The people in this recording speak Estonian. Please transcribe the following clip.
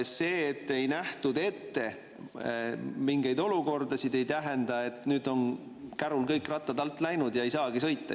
See, et ei nähtud ette mingeid olukordasid, ei tähenda, et nüüd on kärul kõik rattad alt läinud ja ei saagi sõita.